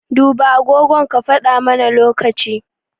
Duba agogon ka faɗa mana lokaci.